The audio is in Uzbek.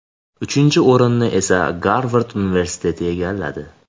Uchinchi o‘rinni esa Garvard universiteti egalladi.